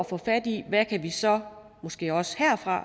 få fat i hvad vi så måske også herfra